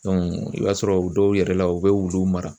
i b'a sɔrɔ u dɔw yɛrɛ la u bɛ wulu mara.